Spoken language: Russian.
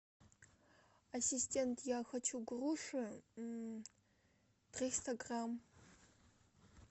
ассистент я хочу груши триста грамм